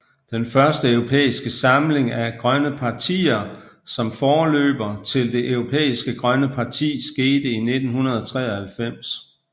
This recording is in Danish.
Den første europæiske samling af grønne partier som forløber til Det Europæiske Grønne Parti skete i 1993